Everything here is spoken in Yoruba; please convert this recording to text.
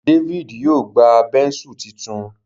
David yíò gbá Bẹ́ńsù títún.